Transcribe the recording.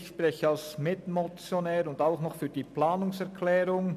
Ich spreche als Mitmotionär sowie für die Planungserklärung.